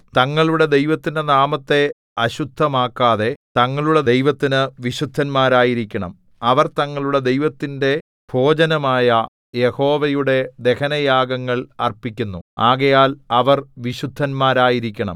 തങ്ങളുടെ ദൈവത്തിന്റെ നാമത്തെ അശുദ്ധമാക്കാതെ തങ്ങളുടെ ദൈവത്തിനു വിശുദ്ധന്മാരായിരിക്കണം അവർ തങ്ങളുടെ ദൈവത്തിന്റെ ഭോജനമായ യഹോവയുടെ ദഹനയാഗങ്ങൾ അർപ്പിക്കുന്നു ആകയാൽ അവർ വിശുദ്ധന്മാരായിരിക്കണം